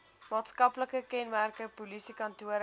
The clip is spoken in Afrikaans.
maatskaplike kenmerke polisiekantore